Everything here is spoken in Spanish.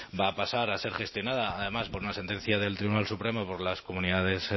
va a pasar a ser gestionada además por una sentencia del tribunal supremo por las comunidades